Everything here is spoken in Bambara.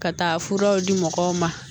Ka taa furaw di mɔgɔw ma